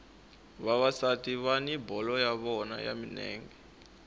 vavasati vani bolo ya vona ya milenge